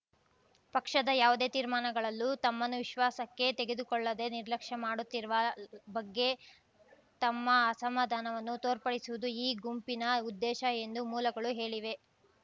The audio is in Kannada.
ಪಕ್ಷದ ಯಾವುದೇ ತೀರ್ಮಾನಗಳಲ್ಲೂ ತಮ್ಮನ್ನು ವಿಶ್ವಾಸಕ್ಕೆ ತೆಗೆದುಕೊಳ್ಳದೇ ನಿರ್ಲಕ್ಷ್ಯ ಮಾಡುತ್ತಿರುವ ಬಗ್ಗೆ ತಮ್ಮ ಅಸಮಾಧಾನವನ್ನು ತೋರ್ಪಡಿಸುವುದು ಈ ಗುಂಪಿನ ಉದ್ದೇಶ ಎಂದು ಮೂಲಗಳು ಹೇಳಿವೆ